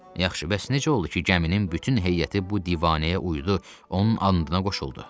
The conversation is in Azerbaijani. Yaxşı, bəs necə oldu ki, gəmisinin bütün heyəti bu divanəyə uyudu, onun andına qoşuldu?